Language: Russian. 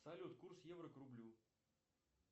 салют курс евро к рублю